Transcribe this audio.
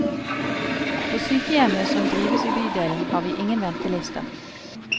På sykehjemmet som drives i bydelen, har vi ingen ventelister.